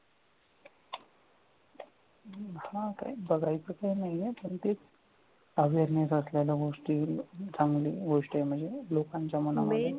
हम्म तेच तेच बघायचं काही नाहीये पण ते awareness असलेल्या गोष्टी चांगली गोष्ट आहे म्हणजे लोकांच्या मनात